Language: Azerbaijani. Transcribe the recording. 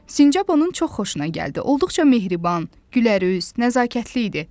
Sincab onun çox xoşuna gəldi, olduqca mehriban, gülərüz, nəzakətli idi.